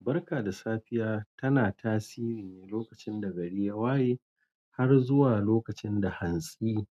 Barka da safiya tana tasiri ne lokacin da gari waye har zuwa lokacin da hansi